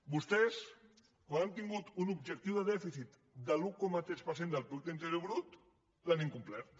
vostès quan han tingut un objectiu de dèficit de l’un coma tres per cent del producte interior brut l’han incomplert